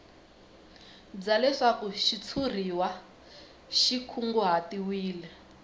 bya leswaku xitshuriwa xi kunguhatiwile